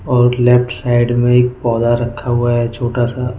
और left side में एक पौधा रखा हुआ है छोटा सा।